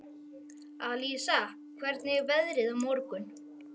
Alísa, hvernig er veðrið á morgun?